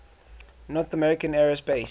north american aerospace